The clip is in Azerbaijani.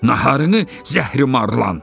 Naharını zəhrimarlan.